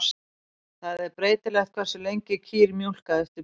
Það er breytilegt hversu lengi kýr mjólka eftir burð.